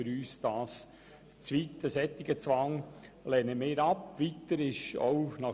Das geht zu weit und wir lehnen einen solchen Zwang ab.